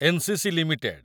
NCC. Limited